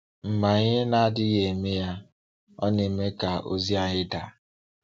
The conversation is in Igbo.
Mgbe anyị na-adịghị eme ya, ọ na-eme ka ozi anyị daa.